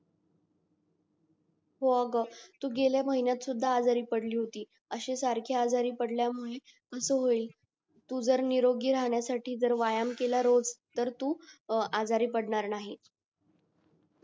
हो ग तू गेल्या महिन्यात सुद्धा आजारी पडली होतीस अशी सारखी आजारी पडल्या मुले असं होईल जर निरोगी राहण्यासाठी जर व्यायाम केला रोज तर तू आजारी पडणार नाही